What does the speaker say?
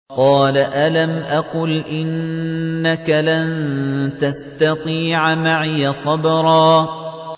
قَالَ أَلَمْ أَقُلْ إِنَّكَ لَن تَسْتَطِيعَ مَعِيَ صَبْرًا